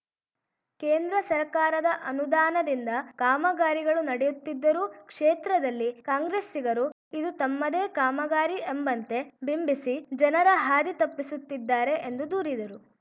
ಕೇಂದ್ರ ಸರ್ಕಾರದ ಅನುದಾನದಿಂದ ಕಾಮಗಾರಿಗಳು ನಡೆಯುತ್ತಿದ್ದರೂ ಕ್ಷೇತ್ರದಲ್ಲಿ ಕಾಂಗ್ರೆಸ್ಸಿಗರು ಇದು ತಮ್ಮದೇ ಕಾಮಗಾರಿ ಎಂಬಂತೆ ಬಿಂಬಿಸಿ ಜನರ ಹಾದಿ ತಪ್ಪಿಸುತ್ತಿದ್ದಾರೆ ಎಂದು ದೂರಿದರು